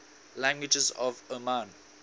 languages of oman